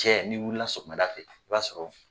Cɛ ni wulila sɔgɔmada fɛ, i b'a sɔrɔ